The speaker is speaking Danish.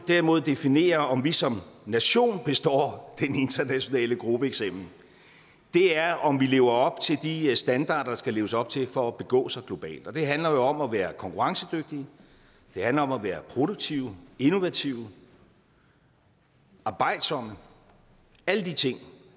derimod definerer om vi som nation består den internationale gruppeeksamen er om vi lever op til de standarder der skal leves op til for at begå sig globalt det handler jo om at være konkurrencedygtige det handler om at være produktive innovative og arbejdsomme alle de ting